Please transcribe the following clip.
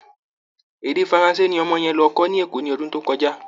Èdè faranse ni ọmọ yẹn lọ kọ́ níÈkó ní ọdún tó kọjá